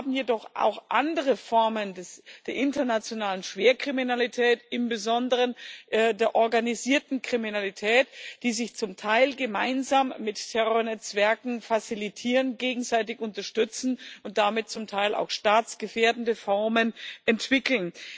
Wir haben jedoch auch andere Formen der internationalen Schwerkriminalität im Besonderen der organisierten Kriminalität die sich zum Teil gemeinsam mit Terrornetzwerken fazilitieren, gegenseitig unterstützen und damit zum Teil auch staatsgefährdende Formen entwickeln.